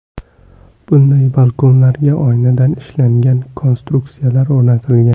Bunday balkonlarga oynadan ishlangan konstruksiyalar o‘rnatilgan.